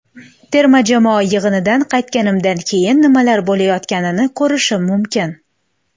Terma jamoa yig‘inidan qaytganimdan keyin nimalar bo‘layotganini ko‘rishim mumkin.